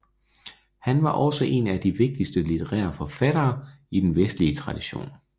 Han var også en af de vigtigste litterære forfattere i den vestlige tradition